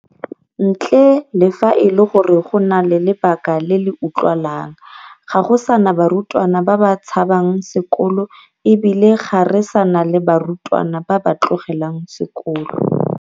Ntle le fa e le gore go na le lebaka le le utlwagalang, ga go sa na barutwana ba ba tshabang sekolo e bile ga re sa na le barutwana ba ba tlogelang sekolo.